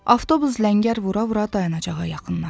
Avtobus ləngər vura-vura dayanacağa yaxınlaşdı.